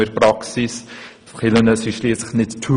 Kirchen sind schliesslich nicht «